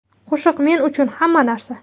Qo‘shiq men uchun hamma narsa.